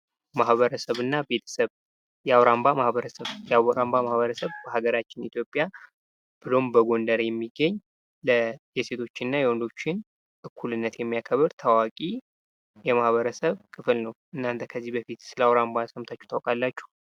ማህበረሰብ እና ቤተሰብ የአዉራምባ ማህበረሰብ የአዉራምባ ማህበረሰብ በሃገራችን ኢትዮጵያ ብሎም በጎንደር የሚገኝ የሴቶችና የወንዶችን እኩልነት የሚያከብር ታዋቂ የማህበረሰብ ክፍል ነው። እናንተ ከዚህ በፊት ስለ አዉራምባ ሰምታቹ ታውቃላቹ?